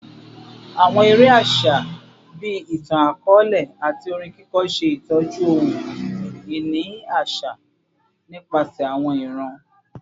Awọn ere aṣa bii itan-akọọlẹ ati orin kiko ṣe itọju ohun-ini aṣa nipasẹ awọn iran